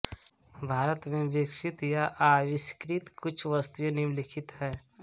भारत में विकसित या आविष्कृत कुछ वस्तुएँ निम्नलिखित हैं